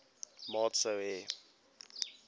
maat sou hê